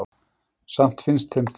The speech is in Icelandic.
samt finnst þeim það óréttlátt